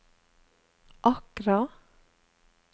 Accra